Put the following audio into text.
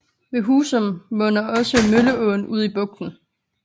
Ved Husum munder også Mølleåen ud i bugten